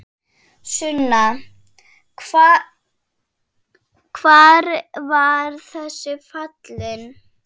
Sunna: Hvar var þessi falinn?